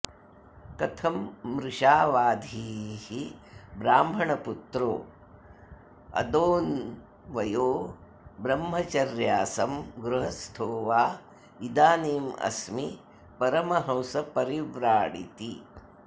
कथं मृषावाधीः ब्राह्मणपुत्रोऽदोन्वयो ब्रह्मचर्यासं गृहस्थो वा इदानीमस्मि परमहंसपरिव्राडिति